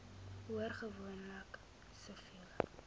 hoor gewoonlik siviele